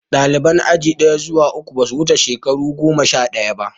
Ɗaliban aji ɗaya zuwa uku, ba sa wuce shekaru goma sha ɗaya.